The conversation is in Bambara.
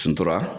Suntora